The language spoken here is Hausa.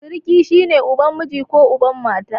Siriki shi ne uban miji ko uban mata.